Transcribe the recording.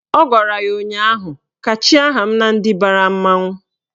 Ọ gwara ya ụnyaahụ " kachie aha m na ndị bara mmanwụ"!